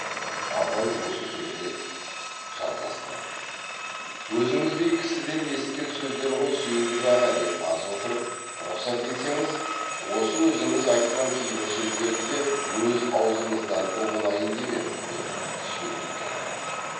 абай осы сөзге жалғастырып өзіңіздей кісіден есіткен сөздер ғой сүйіндік аға деп аз отырып рұқсат етсеңіз осы өзіңіз айтқан кейбір сөздерді де өз аузыңыздан ұғынайын деп ем деп сүйіндікке қарады